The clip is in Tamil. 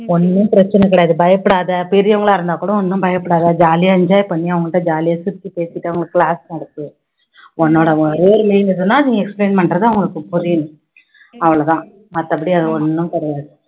ஒண்ணும் பிரச்சனை கிடையாது பயப்படாத, பெரியவங்களா இருந்தா கூட ஒண்ணும் பயப்படாத jolly ஆ enjoy பண்ணி அவங்கள்ட jolly ஆ சிரிச்சு பேசிட்டு அவங்களுக்கு நடத்து உன்னோட ஒரே aim என்னதுன்னா நீ explain பண்றது அவங்களூக்கு புரியணும் அவ்ளோ தான் மத்தபடி அது ஒண்ணும் கிடையாது